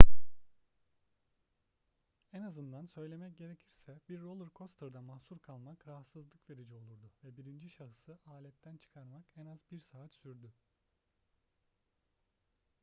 en azından söylemek gerekirse bir roller coaster'da mahsur kalmak rahatsızlık verici olurdu ve birinci şahısı aletten çıkarmak en az bir saat sürdü.